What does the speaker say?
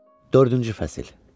Dördüncü fəsil.